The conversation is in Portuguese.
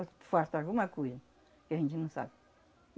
Ou falta alguma coisa, que a gente não sabe.